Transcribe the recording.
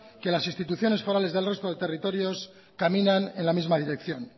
que las instituciones forales del resto de territorios caminan en la misma dirección